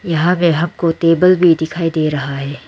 यहां पे हमको टेबल भी दिखाई दे रहा है।